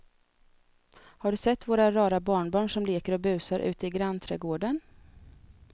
Har du sett våra rara barnbarn som leker och busar ute i grannträdgården!